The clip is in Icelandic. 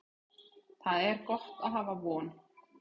Það er gott að hafa von.